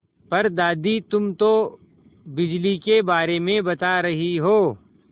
पर दादी तुम तो बिजली के बारे में बता रही हो